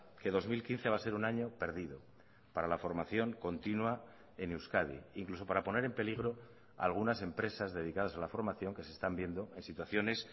que dos mil quince va a ser un año perdido para la formación continua en euskadi incluso para poner en peligro algunas empresas dedicadas a la formación que se están viendo en situaciones